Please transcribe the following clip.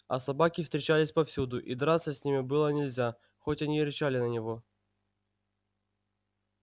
а собаки встречались повсюду и драться с ними было нельзя хоть они и рычали на него